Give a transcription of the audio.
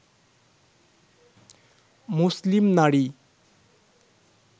মুসলিম নারী